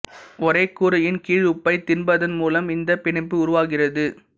ஒரே கூரையின் கீழ் உப்பைத் தின்பதன் மூலம் இந்தப் பிணைப்பு உருவாகிறது